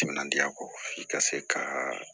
Timinandiya kɔ i ka se ka